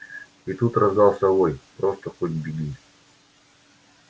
и тут раздаётся вой просто хоть беги